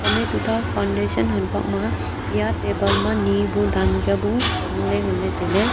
hom e tuta foundation hanpak ma eya table ma ni bu danka bu hangley nganley tailey.